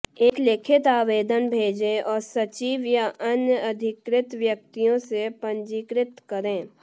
एक लिखित आवेदन भेजें और सचिव या अन्य अधिकृत व्यक्तियों से पंजीकृत करें